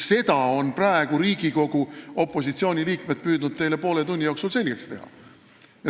Seda on Riigikogu opositsiooni liikmed püüdnud teile poole tunni jooksul selgeks teha.